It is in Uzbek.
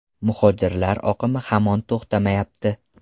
Muhojirlar oqimi hamon to‘xtamayapti.